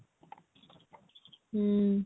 ହୁଁ